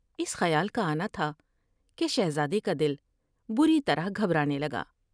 اس خیال کا آنا تھا کہ شہزادے کا دل بری طرح گھبرانے لگا ۔